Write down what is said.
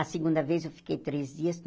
A segunda vez eu fiquei três dias.